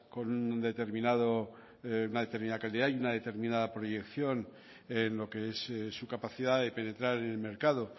con una determinada calidad y una determinada proyección en lo que es su capacidad de penetrar en el mercado